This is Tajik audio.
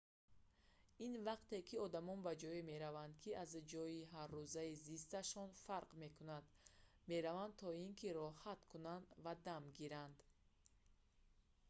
ин вақте ки одамон ба ҷое мераванд ки аз ҷойи ҳаррӯзаи зисташон фарқ мекунад мераванд то ин ки роҳат кунанд ва дам гиранд